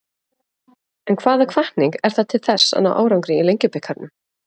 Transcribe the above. En hvaða hvatning er það til þess að ná árangri í Lengjubikarnum?